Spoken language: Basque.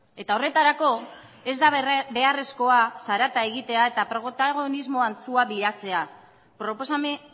eta horretarako ez da beharrezkoa zarata egitea eta protagonismo antzua bilatzea proposamen